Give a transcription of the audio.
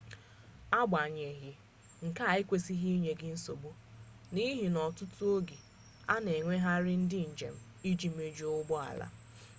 agbanyeghị nke a ekwesịghị inye gị nsogbu n'ihi na ọtụtụ oge a na-ewegharị ndị njem iji mejuo ụgbọ ala